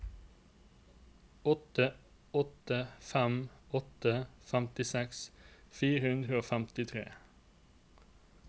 åtte åtte fem åtte femtiseks fire hundre og femtitre